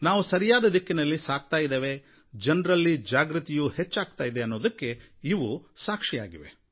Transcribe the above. ನಾವು ಸರಿಯಾದ ದಿಕ್ಕಿನಲ್ಲಿ ಸಾಗ್ತಾ ಇದ್ದೇವೆ ಜನರಲ್ಲಿ ಜಾಗೃತಿಯೂ ಹೆಚ್ಚಾಗಿದೆ ಅನ್ನೋದಕ್ಕೆ ಇವು ಸಾಕ್ಷಿಯಾಗಿವೆ